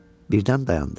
Birdən dayandı.